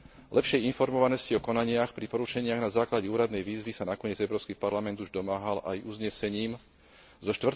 Lepšej informovanosti o konaniach pri porušeniach na základe úradnej výzvy sa nakoniec Európsky parlament už domáhal aj uznesením zo